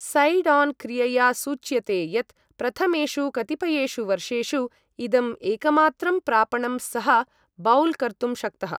Side on क्रियया सूच्यते यत् प्रथमेषु कतिपयेषु वर्षेषु, इदम् एकमात्रं प्रापणं सः बौल् कर्तुं शक्तः।